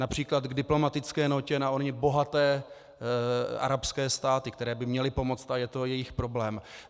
Například k diplomatické nótě na ony bohaté arabské státy, které by měly pomoci, a je to jejich problém.